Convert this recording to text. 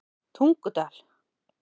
Tungudal